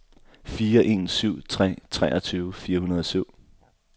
fire en syv tre treogtyve fire hundrede og syv